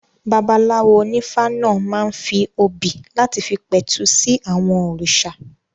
Babaláwo onífá náà máa ń fi obì láti fi pẹ̀tù sí àwọn òrìṣà